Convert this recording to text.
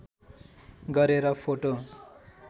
गरेर फोटो